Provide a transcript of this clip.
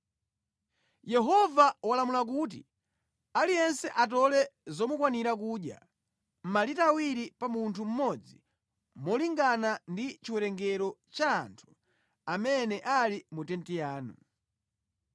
Yehova walamula kuti, ‘Aliyense atole zomukwanira kudya, malita awiri pa munthu mmodzi molingana ndi chiwerengero cha anthu amene ali mu tenti yanu.’ ”